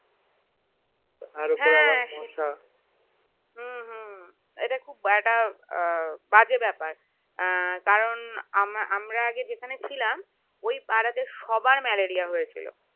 হ্যাঁ এটা খুব বাজে বেপার কারণ আমরা যেখানে ছিলাম সেই পাড়াতে সবার ম্যালেরিয়া হয়েছিল